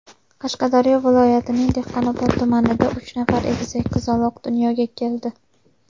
Qashqadaryo viloyatining Dehqonobod tumanida uch nafar egizak qizaloq dunyoga keldi.